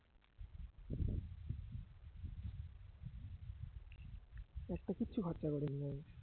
একটা কিচ্ছু খরচা করিনি আমি